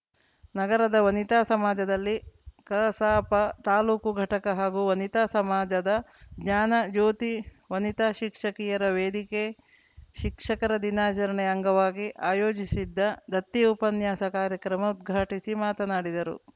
ನಗರದ ವನಿತಾ ಸಮಾಜದಲ್ಲಿ ಕಸಾಪ ತಾಲೂಕು ಘಟಕ ಹಾಗೂ ವನಿತಾ ಸಮಾಜದ ಜ್ಞಾನ ಜ್ಯೋತಿ ವನಿತಾ ಶಿಕ್ಷಕಿಯರ ವೇದಿಕೆ ಶಿಕ್ಷಕರ ದಿನಾಚರಣೆ ಅಂಗವಾಗಿ ಆಯೋಜಿಸಿದ್ದ ದತ್ತಿ ಉಪನ್ಯಾಸ ಕಾರ್ಯಕ್ರಮ ಉದ್ಘಾಟಿಸಿ ಮಾತನಾಡಿದರು